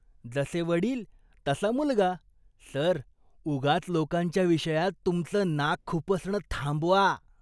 जसे वडील, तसा मुलगा. सर, उगाच लोकांच्या विषयात तुमचं नाक खुपसणं थांबवा.